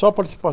Só a